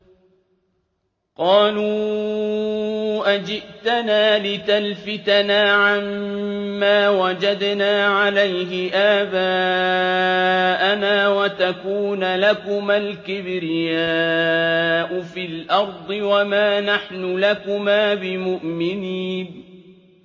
قَالُوا أَجِئْتَنَا لِتَلْفِتَنَا عَمَّا وَجَدْنَا عَلَيْهِ آبَاءَنَا وَتَكُونَ لَكُمَا الْكِبْرِيَاءُ فِي الْأَرْضِ وَمَا نَحْنُ لَكُمَا بِمُؤْمِنِينَ